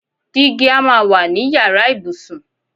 Digi a máa wà ní yàrá ìbùsùn.